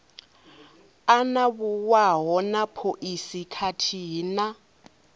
anavhuwaho na phoisi khathihi na